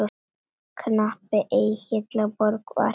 Kappinn Egill á Borg var.